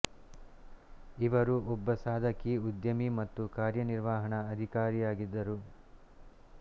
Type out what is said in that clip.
ಇವರು ಒಬ್ಬ ಸಾಧಕಿ ಉದ್ಯಮಿ ಮತ್ತು ಕಾರ್ಯ ನಿರ್ವಹಣಾ ಅಧಿಕಾರಿಯಾಗಿದ್ದರು